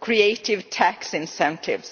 creative tax incentives.